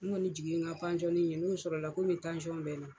N kɔni jigi ye n ka pansiyɔnni n'o sɔrɔ la komi tansiyɔn bɛ n na.